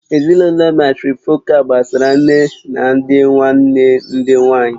Ezinụlọ màtrịfọ̀kal gbasara nne na ndị nwanne nne ndị nwanyị